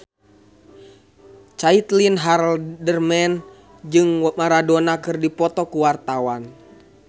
Caitlin Halderman jeung Maradona keur dipoto ku wartawan